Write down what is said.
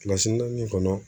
naani kɔnɔ